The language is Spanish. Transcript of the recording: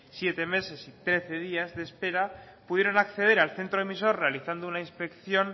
siete meses y trece días de espera pudieron acceder al centro emisor realizando una inspección